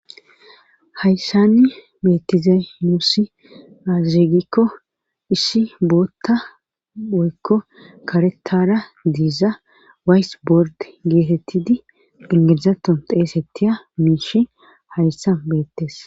hayssanni beettizay muussi azirigikko issi bootta oykko karetara diiza waysibord geetettidi ingeezaton xeesettiya miishi hayssa beettes